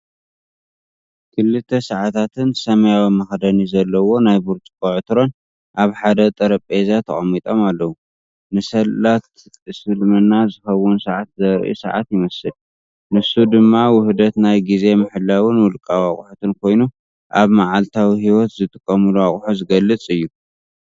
ክልተ ሰዓታትን ሰማያዊ መኽደኒ ዘለዎ ናይ ብርጭቆ ዕትሮን ኣብ ሓደ ጠረጴዛ ተቐሚጦም ኣለዉ። ንሰላት እስልምና ዝኸውን ሰዓት ዘርኢ ሰዓት ይመስል። ንሱ ድማ ውህደት ናይ ግዜ ምሕላውን ውልቃዊ ኣቑሑትን ኮይኑ፡ ኣብ መዓልታዊ ህይወት ዝጥቀሙሉ ኣቑሑት ዝገልጽ እዩ።